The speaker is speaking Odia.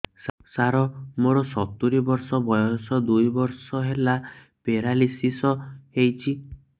ସାର ମୋର ସତୂରୀ ବର୍ଷ ବୟସ ଦୁଇ ବର୍ଷ ହେଲା ପେରାଲିଶିଶ ହେଇଚି